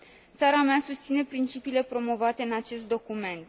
Țara mea susține principiile promovate în acest document.